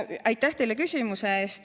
Aitäh teile küsimuse eest!